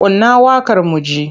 Kunna waƙar mu ji!